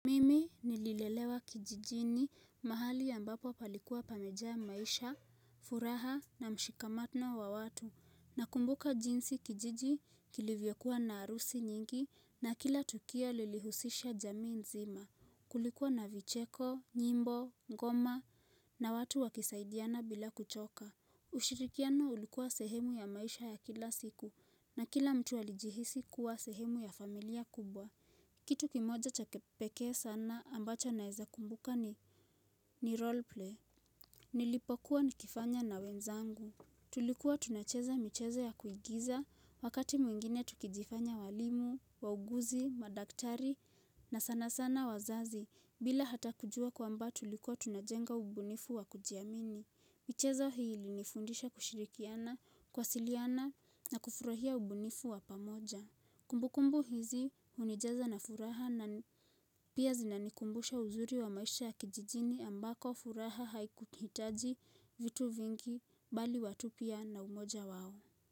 Nililelewa kijijini mahali ambapo palikuwa pameja maisha, furaha na mshikamano wa watu. Nakumbuka jinsi kijiji kilivyokua na harusi nyingi na kila tukio lilihusisha jamii nzima. Kulikuwa na vicheko, nyimbo, ngoma na watu wakisaidiana bila kuchoka. Ushirikiano ulikuwa sehemu ya maisha ya kila siku na kila mtu alijihisi kuwa sehemu ya familia kubwa. Kitu kimoja cha kipekee sana ambacho naeza kumbuka ni roleplay Nilipokuwa nikifanya na wenzangu Tulikuwa tunacheza michezo ya kuigiza Wakati mwingine tukijifanya walimu, wauguzi, madaktari na sana sana wazazi bila hata kujua kwamba tulikuwa tunajenga ubunifu wa kujiamini michezo hii ilinifundisha kushirikiana, kuwasiliana na kufurahia ubunifu wa pamoja Kumbu kumbu hizi hunijaza na furaha na pia zinanikumbusha uzuri wa maisha ya kijijini ambako furaha haikuhitaji vitu vingi bali watu pia na umoja wao.